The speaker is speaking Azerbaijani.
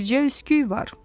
Bicə üskük var.